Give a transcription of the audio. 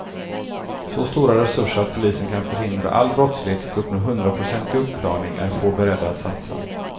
Så stora resurser att polisen kan förhindra all brottslighet och uppnå hundraprocentig uppklarning är få beredda att satsa.